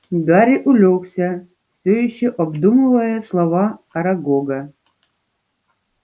гарри улёгся всё ещё обдумывая слова арагога